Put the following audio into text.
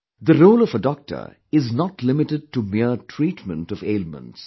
The role of a doctor is not limited to mere treatment of ailments